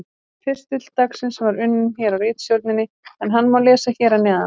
Pistill dagsins var unninn hér á ritstjórninni en hann má lesa hér að neðan: